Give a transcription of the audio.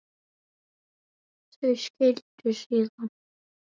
Þau skildu síðan.